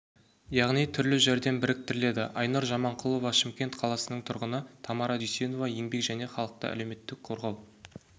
яғни түрлі жәрдем біріктіріледі айнұр жаманқұлова шымкент қаласының тұрғыны тамара дүйсенова еңбек және халықты әлеуметтік қорғау